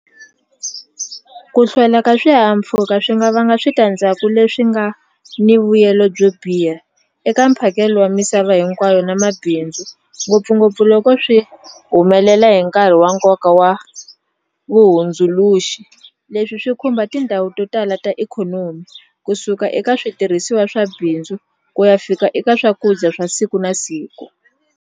Ku hlwela ka swihahampfhuka swi nga vanga switandzhaku leswi nga ni vuyelo byo biha eka mphakelo wa misava hinkwayo na mabindzu ngopfungopfu loko swi humelela hi nkarhi wa nkoka wa vuhundzuluxi leswi swi khumba tindhawu to tala ta ikhonomi kusuka eka switirhisiwa swa bindzu ku ya fika eka swakudya swa siku na siku.